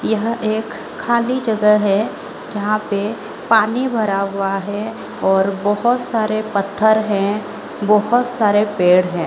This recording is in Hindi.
यह एक खाली जगह है जहाँ पे पानी भरा हुआ है और बोहोत सारे पत्थर है बोहोत सारे पेड़ हैं।